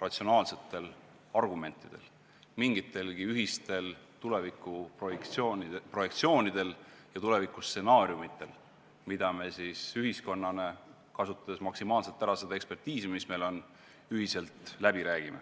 ratsionaalsetel argumentidel, mingitelgi ühistel tulevikuprojektsioonidel ja tulevikustsenaariumitel, mida me siis ühiskonnana – kasutades maksimaalselt ära ekspertiisi, mis meil olemas on – ühiselt läbi räägime.